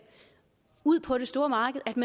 ud på det store marked